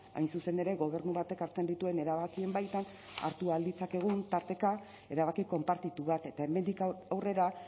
hain zuzen ere gobernu batek hartzen dituen erabakien baitan hartu ahal ditzakegun tarteka erabaki konpartitu bat eta hemendik aurrera